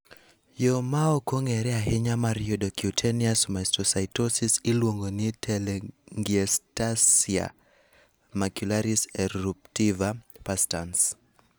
Yo ma ok ong'ere ahinya mar yudo cutaneous mastocytosis iluongo ni telangiectasia macularis eruptiva perstans.